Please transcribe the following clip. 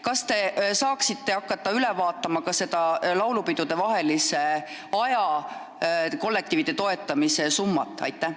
Kas te saaksite hakata üle vaatama ka laulupidude vahelisel ajal kollektiivide toetamiseks ettenähtud summat?